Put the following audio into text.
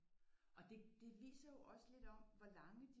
Og det det viser jo også lidt om hvor lange